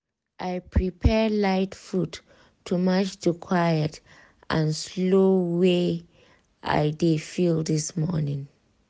i prepare light food to match the quiet and slow way i dey feel this morning.